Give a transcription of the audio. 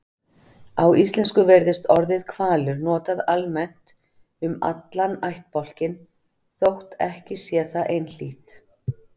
Á íslensku virðist orðið hvalur notað almennt um allan ættbálkinn þótt ekki sé það einhlítt.